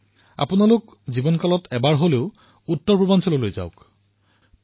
নিজৰ জীৱনত উত্তৰপূৰ্বাঞ্চললৈ নিশ্চয়কৈ যাওক